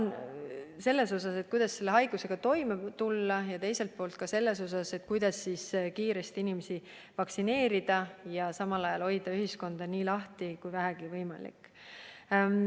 Nüüd, see plaan, kuidas selle haigusega toime tulla, ja teiselt poolt, kuidas kiiresti inimesi vaktsineerida ja samal ajal hoida ühiskonda nii lahti kui vähegi võimalik.